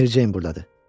Mericeyn burdadır.